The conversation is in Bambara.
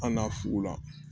An na fugula